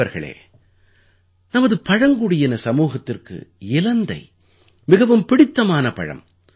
நண்பர்களே நமது பழங்குடியின சமூகத்திற்கு இலந்தை மிகவும் பிடித்தமான பழம்